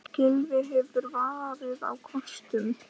Gylfi hefur farið á kostum.